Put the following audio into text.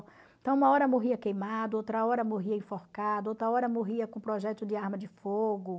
Então, uma hora morria queimado, outra hora morria enforcado, outra hora morria com projétil de arma de fogo.